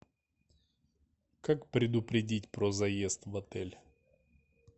как предупредить про заезд в отель